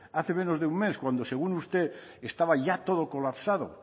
hace menos de un mes cuando según usted estaba ya todo colapsado